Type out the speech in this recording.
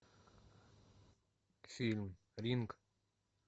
фильм ринг